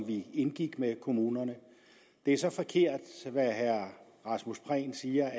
vi indgik med kommunerne det er så forkert hvad herre rasmus prehn siger